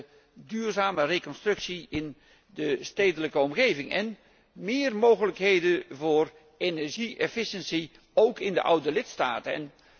met de duurzame reconstructie in de stedelijke omgeving en meer mogelijkheden voor energie efficiëntie, ook in de oude lidstaten.